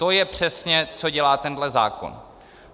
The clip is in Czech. To je přesně, co dělá tenhle zákon.